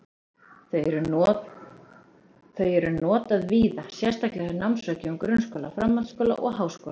Þau eru notað víða, sérstaklega hjá námsráðgjöfum grunnskóla, framhaldsskóla og háskóla.